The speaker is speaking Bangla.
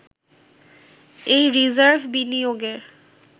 এই রিজার্ভ বিনিয়োগের